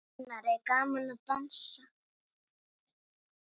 Gunnar: Er gaman að dansa?